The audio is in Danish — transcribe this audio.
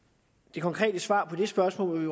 det konkrete svar på det spørgsmål vil